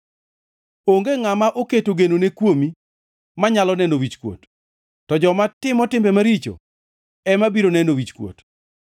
Onge ngʼama oketo genone kuomi manyalo neno wichkuot, to joma timo timbe maricho ema biro neno wichkuot.